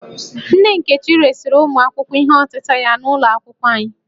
Nne Nkechi resịrị ụmụ akwụkwọ ihe ọtịta ya n'ụlọ akwụkwọ anyị